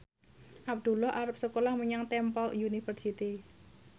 Abdullah arep sekolah menyang Temple University